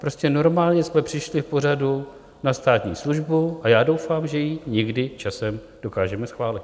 Prostě normálně jsme přišli v pořadu na státní službu a já doufám, že ji někdy časem dokážeme schválit.